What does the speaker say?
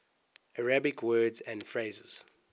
arabic words and phrases